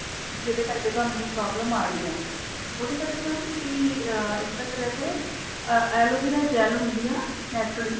ਜਿਹਦੇ ਕਰਕੇ ਤੁਹਾਨੂੰ ਇਹ problem ਆ ਰਹੀ ਹੈ ਉਹਦੇ ਕਰਕੇ mam ਤੁਸੀਂ ਅਹ ਇਸ ਤਰ੍ਹਾਂ ਕਰਿਆ ਕਰੋ ਅਹ ਐਲੋਵੇਰਾ gel ਹੁੰਦੀ ਹੈ ਨਾ naturally